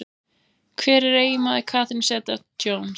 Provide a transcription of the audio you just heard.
Hver er eiginmaður Catherine Zeta-Jones?